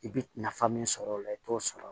I bɛ nafa min sɔrɔ o la i t'o sɔrɔ